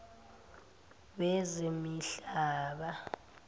wezemihlaba